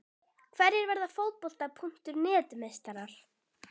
Hverjir verða Fótbolta.net meistarar?